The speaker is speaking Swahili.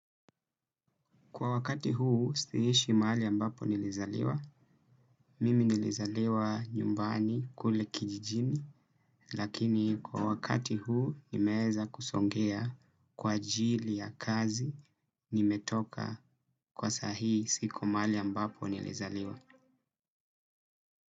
Kwa wakati huu si ishi mahali ambapo nilizaliwa. Mimi nilizaliwa nyumbani kule kijijini lakini kwa wakati huu nimeeza kusongea kwa ajili ya kazi nimetoka kwa sa hii siko mahali ambapo nilizaliwa.